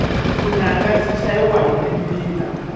vunanga byi chayiwa hi timbila